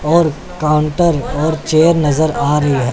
और काउंटर और चेयर नजर आ रही--